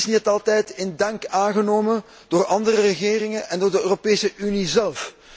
Dat is niet altijd in dank aangenomen door andere regeringen en door de Europese Unie zelf.